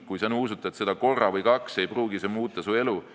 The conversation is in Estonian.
Kui sa nuusutad seda korra või kaks, ei pruugi see muuta su elu.